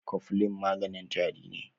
Coflin maganin tari ne.